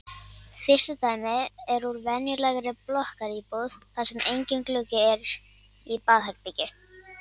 Fyrsta dæmið er úr venjulegri blokkaríbúð þar sem enginn gluggi er í baðherbergi.